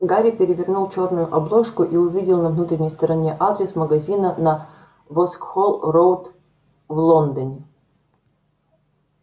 гарри перевернул чёрную обложку и увидел на внутренней стороне адрес магазина на воксхолл-роуд в лондоне